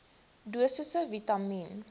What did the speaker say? dosisse vitamien